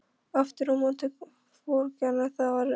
Aftur á móti vorkenna þér allir.